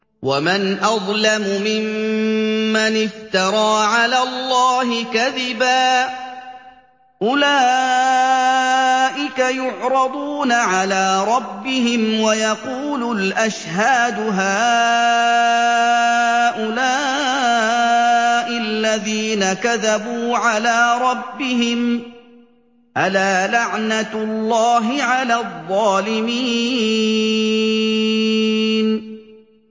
وَمَنْ أَظْلَمُ مِمَّنِ افْتَرَىٰ عَلَى اللَّهِ كَذِبًا ۚ أُولَٰئِكَ يُعْرَضُونَ عَلَىٰ رَبِّهِمْ وَيَقُولُ الْأَشْهَادُ هَٰؤُلَاءِ الَّذِينَ كَذَبُوا عَلَىٰ رَبِّهِمْ ۚ أَلَا لَعْنَةُ اللَّهِ عَلَى الظَّالِمِينَ